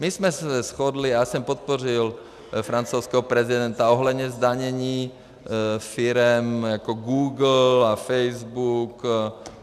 My jsme se shodli a já jsem podpořil francouzského prezidenta ohledně zdanění firem jako Google a Facebook.